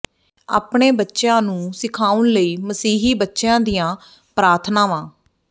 ਆਪਣੇ ਬੱਚਿਆਂ ਨੂੰ ਸਿਖਾਉਣ ਲਈ ਮਸੀਹੀ ਬੱਚਿਆਂ ਦੀਆਂ ਪ੍ਰਾਰਥਨਾਵਾਂ